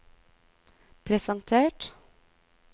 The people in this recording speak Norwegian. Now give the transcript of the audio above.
presentert